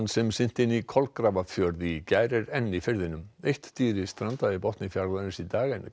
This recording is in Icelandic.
sem synti inn í Kolgrafafjörð í gær er enn í firðinum eitt dýrið strandaði í botni fjarðarins í dag en